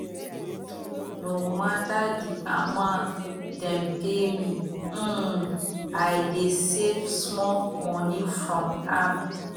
no mata di amount dem pay me um i dey save small moni from am